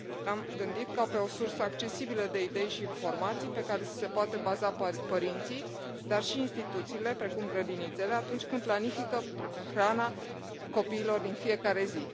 L am gândit ca pe o sursă accesibilă de idei și informații, pe care să se poată baza părinții, dar și instituțiile, precum grădinițele, atunci când planifică hrana copiilor din fiecare zi.